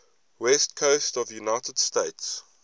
west coast of the united states